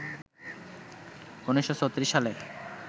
১৯৩৬ সালে